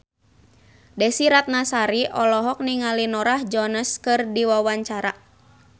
Desy Ratnasari olohok ningali Norah Jones keur diwawancara